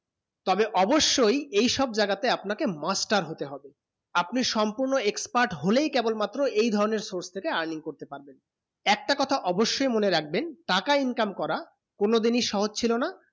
তবে অৱশ্যে এইসব জায়গা তে আপনা কে master হতে হবে আপনি সম্পূর্ণ expert হলে ই কেবল মাত্র এই ধারণে source থেকে earning করতে পারবেন একটা কথা অৱশ্যে মনে রাখবেন টাকা income করা কোনো দিন সহজ ছিল না